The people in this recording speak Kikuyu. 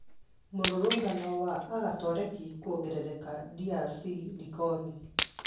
Mũrũrũngano wa agatoreki kũongerereka DRC likoni